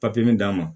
Papiye min d'a ma